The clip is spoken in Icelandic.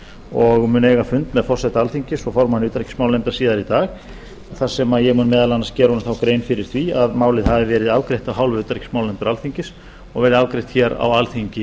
og mun eiga fund með forseta alþingis og formanni utanríkismálanefndar síðar í dag þar sem ég mun meðal annars þá gera honum grein fyrir því að málið hafi verið afgreitt af hálfu utanríkismálanefndar alþingis og verið afgreitt hér á alþingi